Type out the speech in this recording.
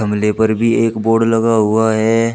मीले पर भी एक बोर्ड लगा हुआ हैं।